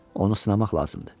Onu sınamaq lazımdır.